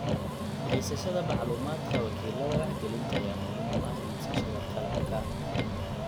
Haysashada macluumaadka wakiilada wax gelinta ayaa muhiim u ah iibsashada qalabka.